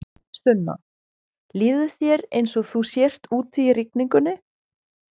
Sunna: Líður þér eins og þú sért úti í rigningunni?